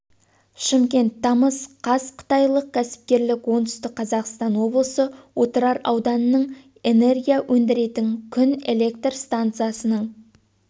шымкент тамыз қаз қытайлық кәсіпкерлер оңтүстік қазақстан облысы отырар ауданынан энергия өндіретін күн электр станциясының